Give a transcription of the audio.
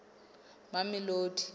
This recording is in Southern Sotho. mamelodi